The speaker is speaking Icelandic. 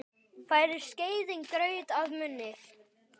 Færir skeiðin graut að munni.